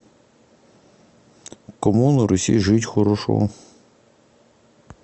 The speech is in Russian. кому на руси жить хорошо